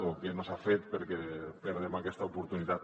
o què no s’ha fet perquè perdem aquesta oportunitat